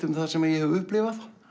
um það sem ég hef upplifað